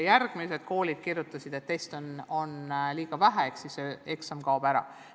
Teised koolid kirjutasid, et teste on liiga vähe ehk siis et eksam kaob ära.